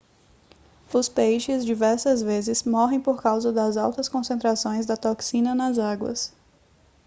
os peixes diversas vezes morrem por causa das altas concentrações da toxina nas águas